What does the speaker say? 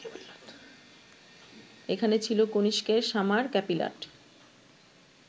এখানে ছিল কনিষ্কের সামার ক্যাপিলাট